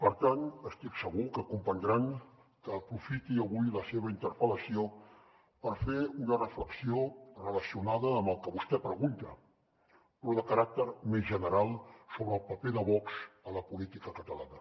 per tant estic segur que comprendran que aprofiti avui la seva interpel·lació per fer una reflexió relacionada amb el que vostè pregunta però de caràcter més general sobre el paper de vox a la política catalana